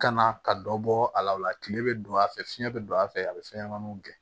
Ka na ka dɔ bɔ a la o la kile bɛ don a fɛ fiɲɛ bɛ don a fɛ a bɛ fɛn ɲɛnɛmaniw gɛn